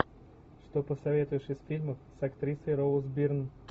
что посоветуешь из фильмов с актрисой роуз бирн